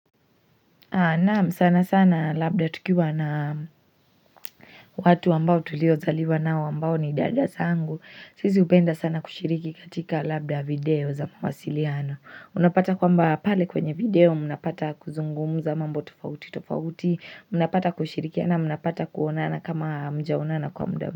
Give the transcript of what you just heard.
Naam sana sana labda tukiwa na watu ambao tuliozaliwa nao ambao ni dada sangu Sizi upenda sana kushiriki katika labda video za mawasiliano Unapata kwamba pale kwenye video munapata kuzungumuza mambo tofauti tofauti Unapata kushirikia na unapata kuonana kama mjaonana kwa mdao.